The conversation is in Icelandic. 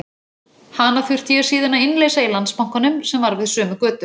Hana þurfti ég síðan að innleysa í Landsbankanum sem var við sömu götu.